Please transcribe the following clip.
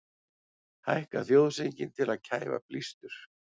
Hækka þjóðsönginn til að kæfa blístur